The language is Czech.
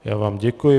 Já vám děkuji.